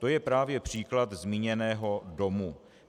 To je právě příklad zmíněného domu.